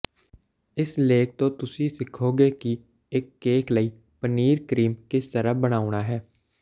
ਇਸ ਲੇਖ ਤੋਂ ਤੁਸੀਂ ਸਿੱਖੋਗੇ ਕਿ ਇੱਕ ਕੇਕ ਲਈ ਪਨੀਰ ਕਰੀਮ ਕਿਸ ਤਰ੍ਹਾਂ ਬਣਾਉਣਾ ਹੈ